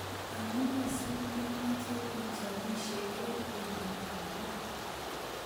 Amune si memache ichopisie eng petutap ra